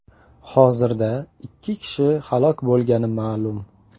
Hozirda ikki kishi halok bo‘lgani ma’lum .